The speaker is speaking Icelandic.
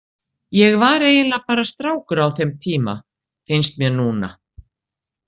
Ég var eiginlega bara strákur á þeim tíma, finnst mér núna.